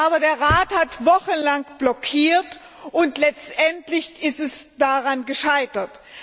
Aber der Rat hat wochenlang blockiert und letztendlich ist es daran gescheitert.